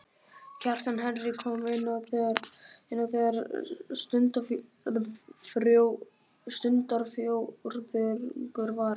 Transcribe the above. Kjartan Henry kom inn á þegar stundarfjórðungur var eftir.